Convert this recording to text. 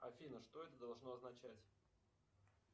афина что это должно означать